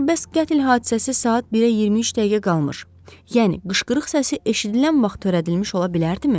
Yaxşı, bəs qətl hadisəsi saat 1-ə 23 dəqiqə qalmış, yəni qışqırıq səsi eşidilən vaxt törədilmiş ola bilərdimi?